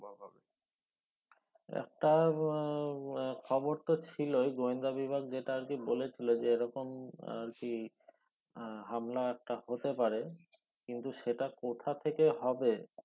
একটা খবর তো ছিলোই গোয়েন্দা বিভাগ যেটা আর কি বলেছিলো যে এই রকম আহ সি আহ হামলা একটা হতে পারে কিন্তু সেটা কোথা থেকে হবে